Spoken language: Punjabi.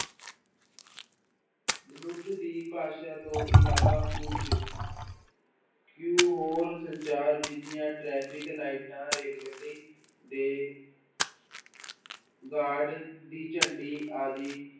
ਮਨੁੱਖ ਦੀ ਭਾਸ਼ਾ ਤੋਂ ਇਲਾਵਾ ਕੁੱਝ ਕੁ ਹੋਰ ਸੰਚਾਰ ਵਿੱਧੀਆਂ ਟਰੈਫ਼ਿਕ ਲਾਇਟਾਂ, ਰੇਲ ਗੱਡੀ ਦੇ guard ਦੀ ਝੰਡੀ ਆਦਿ